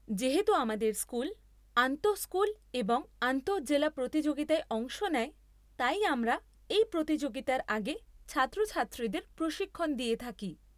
যেহেতু আমাদের স্কুল আন্তঃস্কুল এবং আন্তঃজেলা প্রতিযোগিতায় অংশ নেয়, তাই আমরা এই প্রতিযোগিতার আগে ছাত্রছাত্রীদের প্রশিক্ষণ দিয়ে থাকি।